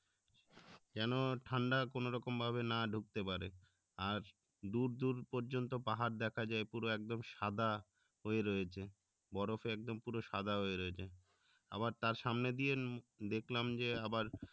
যেন ঠান্ডা কোনো রকম ভাবে না ঢুকতে পারে আর দূর দূর পর্যন্ত পাহাড় দেখা যায় পুরো একদম সাদা হয়ে রয়েছে বরফ এ একদম সাদা হয়ে রয়েছে আবার তার সামনে দিয়ে দেখলাম যে আবার